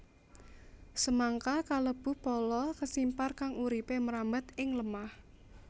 Semangka kalebu pala kesimpar kang uripé mrambat ing lemah